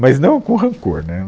Mas não com rancor, né?